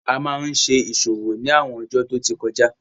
A máa n ṣe ìṣòwò ni àwọn ọjó tí ọ tí kọjá